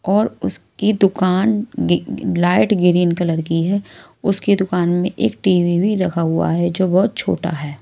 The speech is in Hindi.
और उसकी दुकान लाइट ग्रीन कलर की है उसकी दुकान में एक टी_वी भी रखा हुआ है जो बहुत छोटा है।